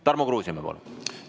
Tarmo Kruusimäe, palun!